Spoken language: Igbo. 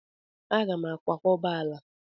Aga m akwakọba ala m.